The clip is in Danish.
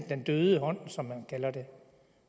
den døde hånd som man kalder det